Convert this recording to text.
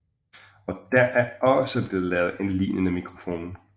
Og der er også blevet lavet en lignende mikrofon